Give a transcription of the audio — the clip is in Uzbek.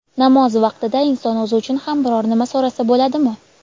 Namoz vaqtida inson o‘zi uchun ham biror nima so‘rasa bo‘ladimi?.